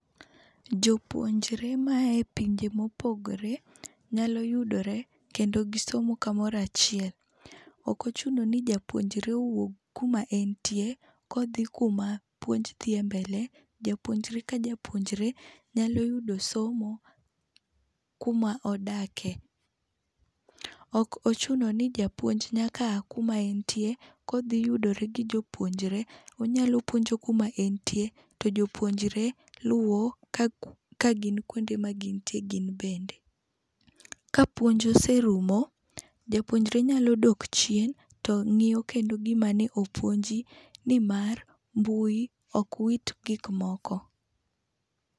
Jopuonjre mae pinje mopogre nyalo yudore kendo gisomo kamoro achiel. Ok ochuno ni japuonjre owuog kuma entie, kodhi kuma puonj dhiye mbele. Japuonjre ka japuonjre nyalo yudo somo kuma odakie. Ok ochuno ni japuonj nyaka aa kuma entie kodhi yudore gi jopuonjre, onyalo puonjo kuma entie to jopuonjre luwo kagin kuonde magintie gibende. Kapuonj osee rumo, jopuonjre nyalo dok chien to ng'iyo kendo gima ne opuonji nimar mbui ok wit gik moko.